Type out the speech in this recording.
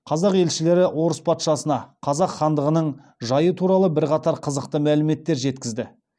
қазақ елшілері орыс патшасына қазақ хандығының жайы туралы бірқатар қызықты мәліметтер жеткізді